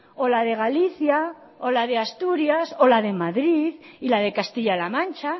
o la de galicia o la de asturias o la de madrid y la de castilla la mancha